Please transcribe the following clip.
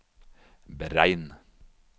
beregn